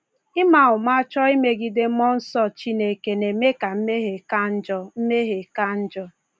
Ịma ụma chọọ imegide Mmụọ Nsọ Chineke na-eme ka mmehie ka njọ. mmehie ka njọ.